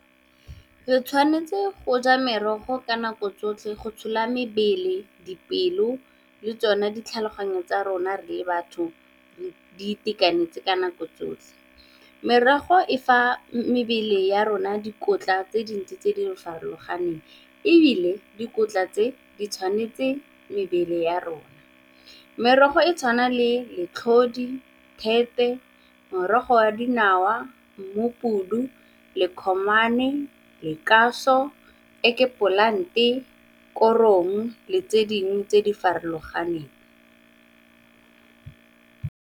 Re tshwanetse go ja merogo ka nako tsotlhe go tshola mebele, dipelo le tsone ditlhaloganyo tsa rona re le batho di itekanetse ka nako tsotlhe. Merogo e fa mebele ya rona dikotla tse dintsi tse di farologaneng, ebile dikotla tse di tshwanetse mebele ya rona. Merogo e tshwana le letlhodi, thepe, morogo wa dinawa mmupudu, , egg plant-e, korong le tse dingwe tse di farologaneng.